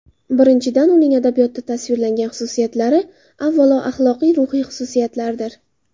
Birinchidan, uning adabiyotda tasvirlangan xususiyatlari, avvalo, axloqiy-ruhiy xususiyatlardir.